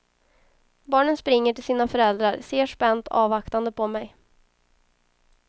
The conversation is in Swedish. Barnen springer till sina föräldrar, ser spänt avvaktande på mig.